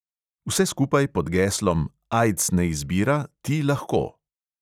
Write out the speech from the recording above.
Vse skupaj pod geslom: "aids ne izbira, ti lahko!"